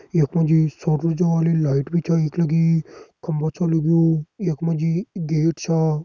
यख मा जी सोर ऊर्जा वाली लाइट भी छ यख लगीं खम्बा छ लग्युं यख मा जी गेट छा।